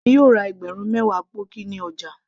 èmi yóò ra ẹgbẹ̀rún mewa pọ́ọ̀kì ní ọjà